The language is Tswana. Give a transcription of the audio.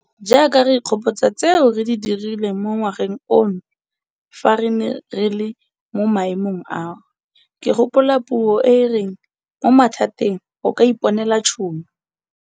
Jaaka re ikgopotsa tseo re di dirileng mo ngwageng ono fa re ne re le mo maemong ao, ke gopola puo e e reng 'mo mathateng o ka iponela tšhono'.